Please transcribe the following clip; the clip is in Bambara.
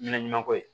Ɲɛnaɲuman ko ye